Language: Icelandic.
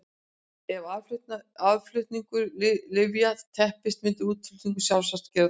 Ef aðflutningur lyfja teppist myndi útflutningur sjálfsagt gera það líka.